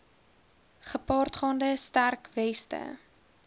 gepaardgaande sterk weste